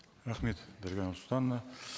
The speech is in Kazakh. рахмет дарига нурсултановна